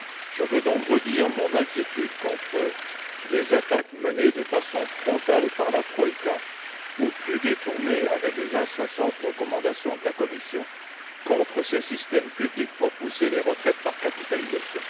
Je veux donc redire mon inquiétude face aux attaques menées de façon frontale par la troïka, ou de façon plus détournée avec les incessantes recommandations de la Commission, contre ces systèmes publics en vue de pousser les retraites par capitalisation.